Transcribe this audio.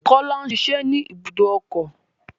Kọ́lá ń ṣiṣẹ́ ní ibùdó ọkọ̀.